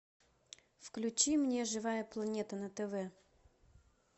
включи мне живая планета на тв